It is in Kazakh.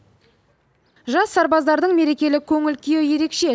жас сарбаздардың мерекелік көңіл күйі ерекше